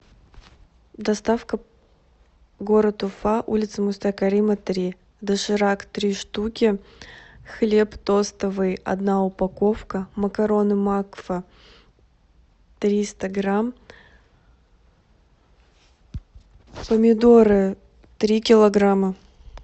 доставка город уфа улица муста карима три доширак три штуки хлеб тостовый одна упаковка макароны макфа триста грамм помидоры три килограмма